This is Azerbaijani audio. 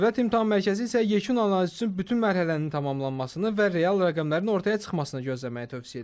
Dövlət İmtahan Mərkəzi isə yekun analiz üçün bütün mərhələnin tamamlanmasını və real rəqəmlərin ortaya çıxmasını gözləməyi tövsiyə edir.